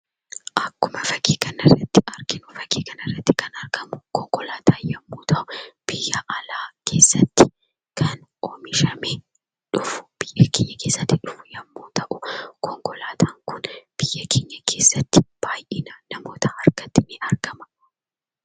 Akkuma fakkii kanarratti arginu fakkii kanarratti kan argamu konkolaataa yemmuu ta'u, biyya alaa keessatti kan oomishame dhufu biyya keenya keessatti konkolaataan kun namoota baay'ee harkatti ni argama.